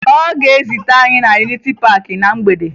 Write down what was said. Ọ ga-ezute anyị na Yuniti Paakị na mgbede